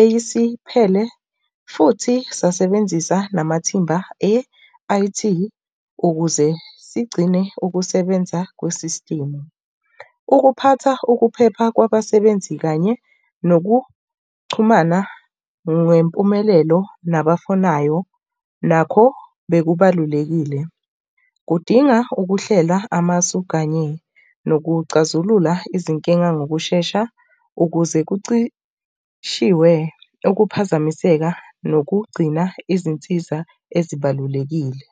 eyisiphele futhi sasebenzisa namathimba e-I_T ukuze sigcine ukusebenza kwe-system. Ukuphatha ukuphepha kwabasebenzi kanye nokuxhumana ngempumelelo nabafunayo nakho bekubalulekile. Kudinga ukuhlela amasu kanye nokuxazulula izinkinga ngokushesha ukuze kucishe ukuphazamiseka nokugcina izinsiza ezibalulekile.